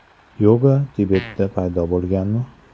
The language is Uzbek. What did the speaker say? Yoga Tibetda paydo bo‘lganmi?